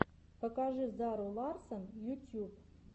покажи зару ларссон ютьюб